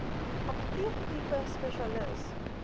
apteek tipe spesialis